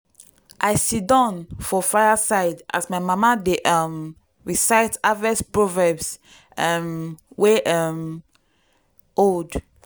i sidon for fire side as my mama dey um recite harvest proverbs um wey um old.